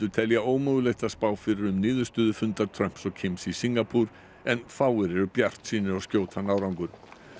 telja ómögulegt að spá fyrir um niðurstöðu fundar Trumps og Kims í Singapúr en fáir eru bjartsýnir á skjótan árangur